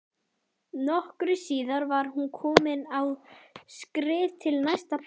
Nokkru síðar var hún komin á skrið til næsta bæjar.